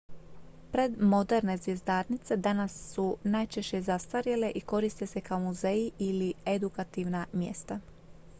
predmoderne zvjezdarnice danas su najčešće zastarjele i koriste se kao muzeji ili edukativna mjesta